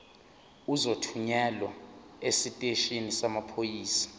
uzothunyelwa esiteshini samaphoyisa